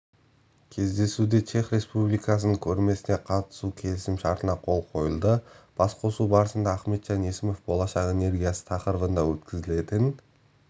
кездесуде чех республикасының көрмесіне қатысу келісімшартына қол қойылды басқосу барысында ахметжан есімов болашақ энергиясы тақырыбында өткізілетін